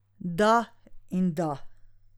Da in da.